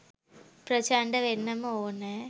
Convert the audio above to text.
ප්‍රචණ්ඩ වෙන්නම ඕනැ.